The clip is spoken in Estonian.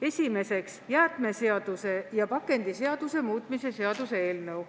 Esiteks, jäätmeseaduse ja pakendiseaduse muutmise seaduse eelnõu.